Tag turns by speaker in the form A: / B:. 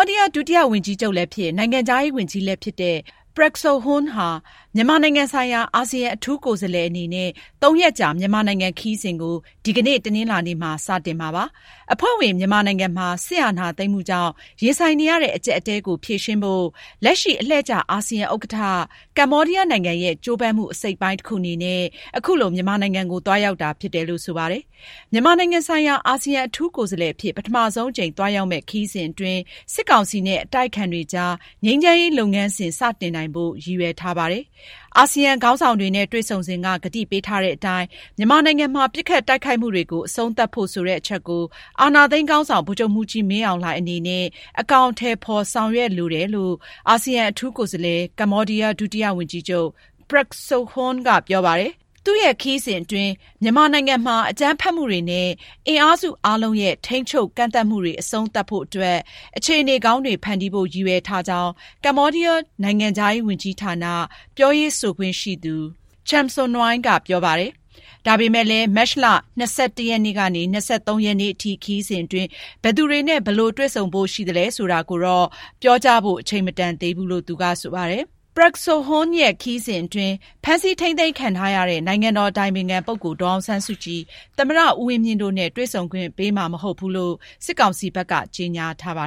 A: ာဒီးယား ဒုတိယဝန်ကြီးချုပ်လည်းဖြစ်၊ နိုင်ငံခြားရေးဝန်ကြီးလည်းဖြစ်တဲ့ Prak Sokhonn ဟာ မြန်မာနိုင်ငံဆိုင်ရာ အာဆီယံ အထူးကိုယ်စားလှယ်အနေနဲ့ သုံးရက်ကြာ မြန်မာနိုင်ငံ ခရီးစဉ်ကို ဒီကနေ့ တနင်္လာနေ့ စတင်မှာဖြစ်ပါတယ်။ အဖွဲ့ဝင် မြန်မာနိုင်ငံမှာ စစ်အာဏာသိမ်းမှုကြောင့် ရင်ဆိုင်နေရတဲ့ အကျပ်အတည်းကို ဖြေရှင်းဖို့ လက်ရှိ အလှည့်ကျ အာဆီယံဥက္ကဋ္ဌ ကမ္ဘောဒီးယားနိုင်ငံရဲ့ ကြိုးပမ်းမှု အစိတ်အပိုင်းတခု အနေနဲ့ အခုလို မြန်မာနိုင်ငံကို သွားရောက်တာဖြစ်တယ်လို့ ဆိုပါတယ်။ မြန်မာနိုင်ငံဆိုင်ရာ အာဆီယံ အထူးကိုယ်စားလှယ်အဖြစ် ပထမဆုံးအကြိမ် သွားရောက်မယ့် ခရီးစဉ်အတွင်း စစ်ကောင်စီနဲ့ အတိုက်အခံတွေကြား ငြိမ်းချမ်းရေး လုပ်ငန်းစဉ် စတင်နိုင်ဖို့ ရည်ရွယ်ထားပါတယ်။ အာဆီယံခေါင်းဆောင်တွေနဲ့ တွေ့ဆုံစဉ်က ကတိပေးထားတဲ့အတိုင်း မြန်မာနိုင်ငံမှာ ပစ်ခိုက်တိုက်ခိုက်မှုတွေကို အဆုံးသတ်ဖို့ဆိုတဲ့ အချက်ကို အာဏာသိမ်းခေါင်းဆောင် ဗိုလ်ချုပ်မှူးကြီးမင်းအောင်လှိုင် အနေနဲ့ အကောင်အထည်ဖော် ဆောင်ရွက်စေလိုတယ်လို့ အာဆီယံ အထူးကိုယ်စားလှယ် ကမ္ဘောဒီးယား ဒုဝန်ကြီးချုပ် Prak Sokhonn က ပြောပါတယ်။ Prak Sokhonn ရဲ့ အာဆီယံ အထူးကိုယ်စားလှယ်အဖြစ် မြန်မာနိုင်ငံကိုသွားမယ့် ပထမဆုံး ခရီးစဉ်မှာ အကြမ်းဖက်မှုတွေ အဆုံးသတ်ဖို့နဲ့ အင်အားစုအားလုံး ထိန်းထိန်းသိမ်းသိမ်း လုပ်ဆောင်ကြဖို့အတွက် အခြေအနေကောင်းတွေ ဖန်တီးဖို့ ရည်ရွယ်ထားကြောင်း ကမ္ဘောဒီးယား နိုင်ငံခြားရေးဝန်ကြီးဌာန ပြောရေးဆိုခွင့်ရှိသူ Chum Sounry က ပြောကြားခဲ့ပါတယ်။ ဒါပေမယ့်လည်း မတ်လ ၂၁ ရက်နေ့ကနေ ၂၃ ရက်နေ့ထိ သွားရောက်မယ့် ခရီးစဉ်အတွင်း ဘယ်သူတွေနဲ့ ဘယ်လိုတွေ့ဆုံဖို့ရှိသလဲ ဆိုတာကိုတော့ ပြောကြားဖို့ အချိန်မတန်သေးဘူးလို့ သူက ဆိုပါတယ်။ Prak Sokhonn ရဲ့ ခရီးစဉ်အတွင်း ဖမ်းဆီးထိန်းသိမ်းခံထားရတဲ့ နိုင်ငံတော်အတိုင်ပင်ခံပုဂ္ဂိုလ် ဒေါ်အောင်ဆန်းစုကြည်၊ သမ္မတ ဦးဝင်းမြင့်တို့နဲ့ တွေ့ဆုံခွင့်ပေးမှာ မဟုတ်ဘူးလို့ စစ်ကောင်စီဘက်က ကြေညာထားတာပါ